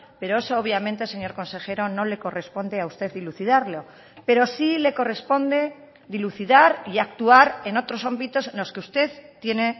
pero eso obviamente señor consejero no le corresponde a usted dilucidarlo pero sí le corresponde dilucidar y actuar en otros ámbitos en los que usted tiene